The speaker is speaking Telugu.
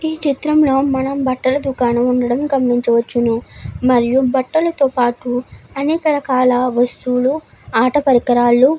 ఈ చిత్రంలో మనం బట్టల దుకాణం ఉండడం గమనించవచ్చు మరియు బట్టలతో పాటు అన్ని వస్తువులు అట పరికారాలు --